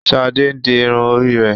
Shade ǹ di irun ori rẹ.